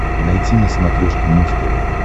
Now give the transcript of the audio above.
найти на смотрешке муз тв